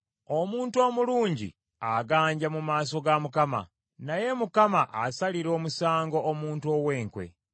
Omuntu omulungi aganja mu maaso ga Mukama , naye Mukama asalira omusango omuntu ow’enkwe.